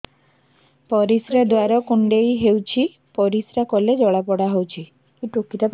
ପରିଶ୍ରା ଦ୍ୱାର କୁଣ୍ଡେଇ ହେଉଚି ପରିଶ୍ରା କଲେ ଜଳାପୋଡା ହେଉଛି